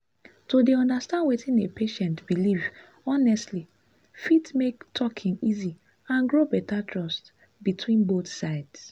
to dey understand wetin a patient believe honestly fit make talking easy and grow better trust between both sides.